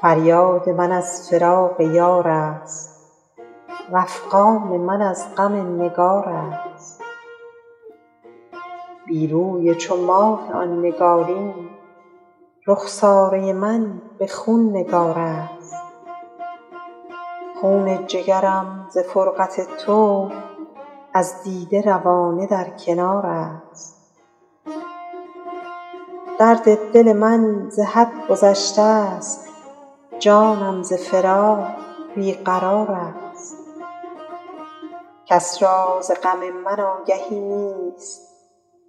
فریاد من از فراق یار است وافغان من از غم نگار است بی روی چو ماه آن نگارین رخساره من به خون نگار است خون جگرم ز فرقت تو از دیده روانه در کنار است درد دل من ز حد گذشته ست جانم ز فراق بی قرار است کس را ز غم من آگهی نیست